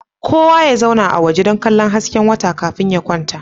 Kowa ya zauna a waje dan kallo hasken wata kafin ya kwanta